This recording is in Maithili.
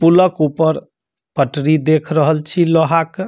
पुला के ऊपर पटरी देख रहल छी लोहा के।